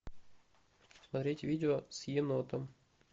смотреть видео с енотом